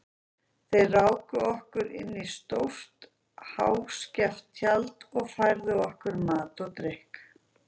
Þeir ráku okkur inn í stórt og háskeft tjald og færðu okkur mat og drykk.